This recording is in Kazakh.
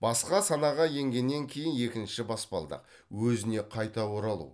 басқа санаға енгеннен кейінгі екінші баспалдақ өзіне қайта оралу